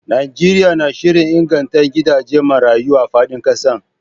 Najeriya na shirin inganta gidajen marayu a fadin kasar